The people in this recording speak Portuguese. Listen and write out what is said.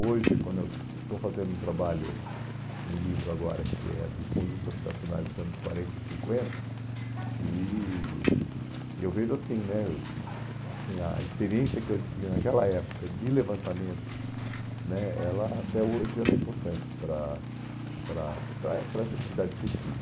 Hoje, quando eu estou fazendo um trabalho, um livro agora, que é dos conjuntos habitacionais dos anos quarenta e cinquenta, e e eu vejo assim né, assim, a experiência que eu adquiri naquela época de levantamento né, ela até hoje ela é importante para para para eh para essa atividade de pesquisa.